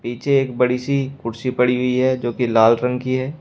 नीचे एक बड़ी सी कुर्सी पड़ी हुई है जोकि लाल रंग की है।